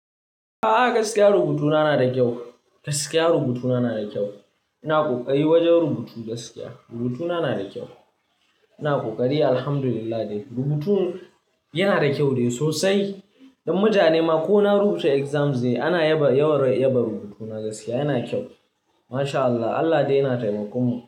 A'a, gaskiya rubutuna na da kyau. Gaskiya rubutuna na da kyau. Ina ƙoƙari wajen rubutu gaskiya. Rubutuna na da kyau. Ina kokari Alhamdulillah dai rubutun yana da kyau dai sosai. Don mutane ma ko na rubuta exams ne ana yaba yawan yaba rubutuna gaskiya yana kyau. MashAllah, Allah dai yana taimakonmu.